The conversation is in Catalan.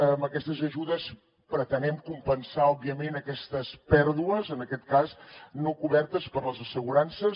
amb aquestes ajudes pretenem compensar òbviament aquestes pèrdues en aquest cas no cobertes per les assegurances